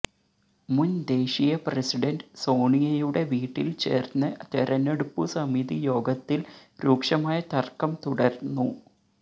മുന് ദേശീയ പ്രസിഡന്റ് സോണിയയുടെ വീട്ടില് ചേര്ന്ന തെരഞ്ഞെടുപ്പു സമിതി യോഗത്തില് രൂക്ഷമായ തര്ക്കം തുടര്ന്നു